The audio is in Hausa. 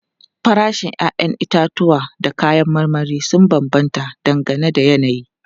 Farashin 'ya'yan itatuwa da kayan marmari sun bambanta dangane da yanayi.